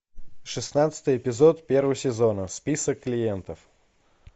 шестнадцатый эпизод первого сезона список клиентов